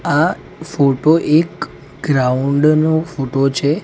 આ ફોટો એક ગ્રાઉન્ડ નો ફોટો છે.